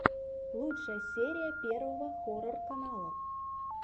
лучшая серия первого хоррор канала